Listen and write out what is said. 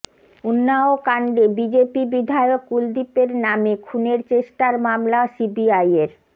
উন্নাওকাণ্ডে BJP বিধায়ক কুলদীপের নামে খুনের চেষ্টার মামলা সিবিআইয়ের